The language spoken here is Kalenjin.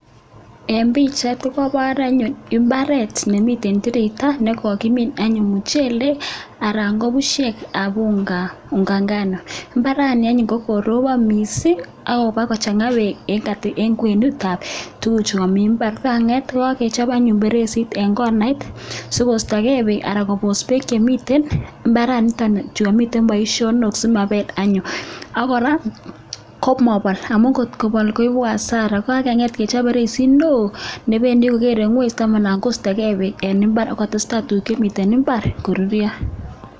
Eng pichait ko keipor anyun imbaaret nemiten tireito ne kokimiin anyun muchelek anan ko pushek unga ngano. Imbaani anyun kokoropon mising akoboko changit beek eng kwenutab tuguchu mi imbaar. Kangeet kechop anyun feresit eng konait sikoistokee beek anan kobos beek chemiten imbaaraniton chekamiten boisionok simapel anyun ak kora komopol amun ngotkopol koipu hasara, ye kakenget kechop feresinok nependi kogeere ingweny ndamana koistoikee beek eng imbaar ako testai tuguk chemi imbaar koruryo.